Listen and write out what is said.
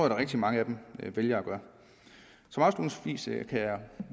at rigtig mange vælger at gøre afslutningsvis kan jeg